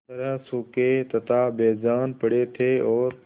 तरह सूखे तथा बेजान पड़े थे और